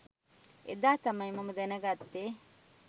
එදා තමයි මම දැනගත්තේ